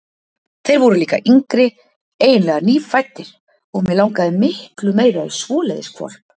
Þeir voru líka yngri, eiginlega nýfæddir, og mig langaði miklu meira í svoleiðis hvolp.